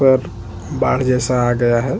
सारा पानी इधर-उधर फैल गया है।